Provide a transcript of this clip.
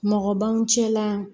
Mɔgɔ b'an cɛla